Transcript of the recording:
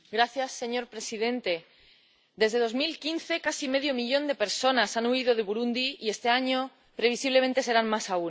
Señor presidente, desde 2015 casi medio millón de personas han huido de Burundi y este año, previsiblemente, serán más aún.